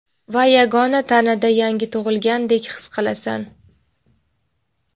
va begona tanada yangi tug‘ilgandek his qilasan.